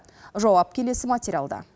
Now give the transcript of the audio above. жауап келесі материалда